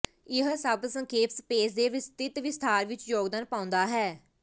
ਇਹ ਸਭ ਸੰਖੇਪ ਸਪੇਸ ਦੇ ਵਿਸਤ੍ਰਿਤ ਵਿਸਥਾਰ ਵਿੱਚ ਯੋਗਦਾਨ ਪਾਉਂਦਾ ਹੈ